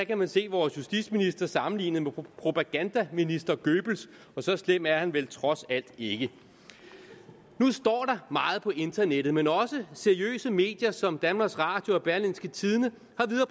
kan man se vores justitsminister sammenlignet med propagandaminister goebbels og så slem er han vel trods alt ikke nu står der meget på internettet men også seriøse medier som danmarks radio og berlingske tidende